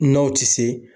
N'aw tɛ se